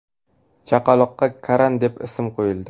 Chaqaloqqa Karan deb ism qo‘yildi.